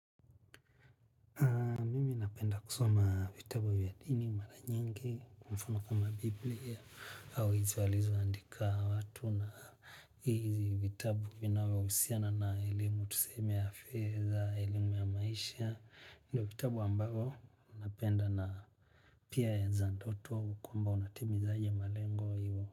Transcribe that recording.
Napenda kusoma vitabu vyadini, maranyingi, kwamfano kama Biblia au hizowalizo andika watu na hizi vitabu vinavyo husiana na elimu tuseme ya fedha, elimu ya maisha. Ndio vitabu ambavyo, napenda na pia ya zandoto kwa mba unatimizaje malengo hivo.